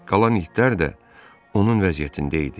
Qalan itlər də onun vəziyyətində idi.